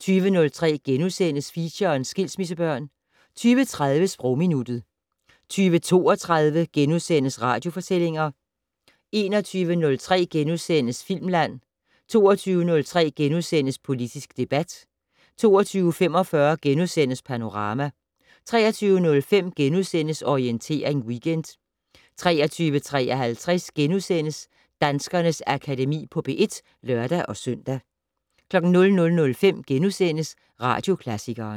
20:03: Feature: Skilsmissebørn * 20:30: Sprogminuttet 20:32: Radiofortællinger * 21:03: Filmland * 22:03: Politisk debat * 22:45: Panorama * 23:05: Orientering Weekend * 23:53: Danskernes Akademi på P1 *(lør-søn) 00:05: Radioklassikeren *